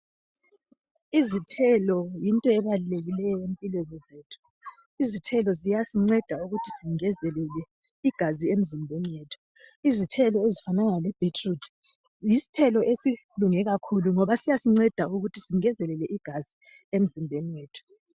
Izithelo yinto ebalulekileyo empilweni zethu, izithelo ziyasinceda ukuthi singezelele igazi emzimbeni yethu. Izithelo ezifanana lebeetroot yisithelo esilunge kakhulu ngoba siyasinceda ukuthi singezelele igazi emzimbeni yethu.